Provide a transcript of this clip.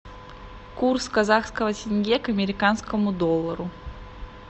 курс казахского тенге к американскому доллару